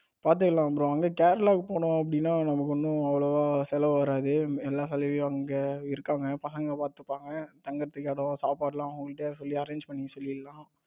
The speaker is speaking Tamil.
பாத்துக்கலாம் bro அங்க கேரளாக்கு போனோம் அப்படின்னா நமக்கு ஒன்னும் அவ்வளவா செலவு வராது எல்லா செலவையும் அவங்க இருக்காங்க பசங்க பார்த்துப்பாங்க தங்குவதற்கு இடம் சாப்பாட்டுக்கெல்லாம் அவங்க கிட்ட சொல்லி arrange பண்ண சொல்லிடலாம்.